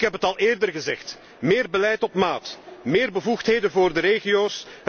Ik heb het al eerder gezegd meer beleid op maat, meer bevoegdheden voor de regio's.